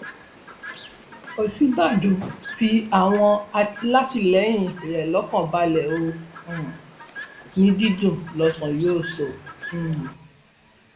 òsínbàjò fi àwọn alátìlẹyìn rẹ lọkàn balẹ ó um ní dídùn lọsàn yóò sọ um